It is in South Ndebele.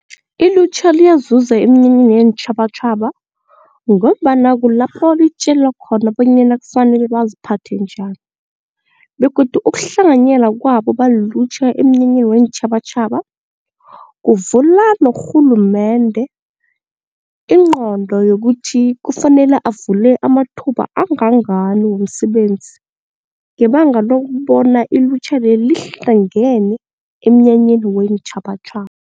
Ilutjha liyazuza eminyanyeni yeentjhabatjhaba ngombana kulapho litjelwa khona bonyana kufanele baziphathe njani begodu ukuhlanganyela kwabo balilutjha emnyanyeni weentjhabatjhaba kuvula norhulumende ingqondo yokuthi kufanele avule amathuba angangani womsebenzi ngebanga lokubona ilutjha leli lihlangene emnyanyeni weentjhabatjhaba.